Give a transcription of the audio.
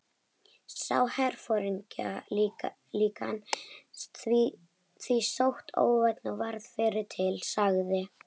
Sá herforingjaklíkan því sitt óvænna og varð fyrri til, sagði